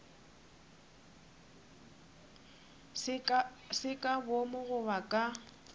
se ka boomo goba ka